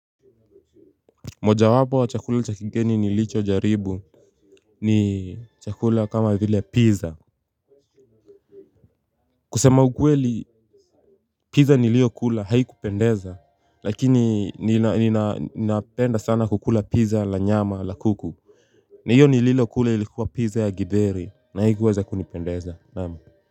Mojawapo wa chakula cha kigeni nilichojaribu ni chakula kama vile pizza. Kusema ukweli pizza niliyokula haikupendeza lakini ninapenda sana kukula pizza la nyama la kuku. Na hiyo nililokula ilikuwa pizza ya githeri na haikuweza kunipendeza naam.